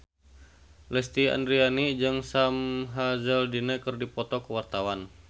Lesti Andryani jeung Sam Hazeldine keur dipoto ku wartawan